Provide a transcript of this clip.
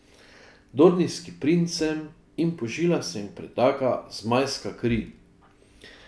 Dornijski princ sem in po žilah se mi pretaka zmajska kri.